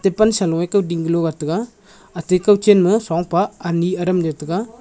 e pan sanoe kawding galo wat tega ate kawchen ma shrongpa ani aram yaw taiga.